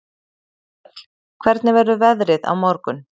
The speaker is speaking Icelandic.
Þöll, hvernig verður veðrið á morgun?